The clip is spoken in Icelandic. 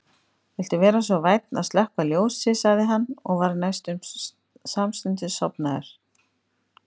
Viltu vera svo vænn að slökkva ljósið sagði hann og var næstum samstundis sofnaður.